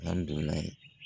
Alihamudulilayi